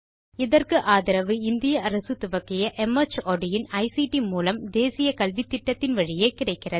இதற்கு ஆதரவு இந்திய அரசு துவக்கிய மார்ட் இன் ஐசிடி மூலம் தேசிய கல்வித்திட்டத்தின் வழியே கிடைக்கிறது